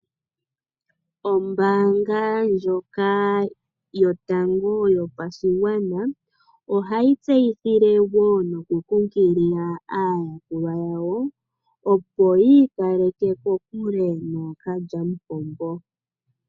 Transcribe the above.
Ombaanga ndjoka yotango yopashigwana ohayi tseyithile wo noku kunkilila aayakulwa yawo opo yiikaleke kokule nookalyamupombo.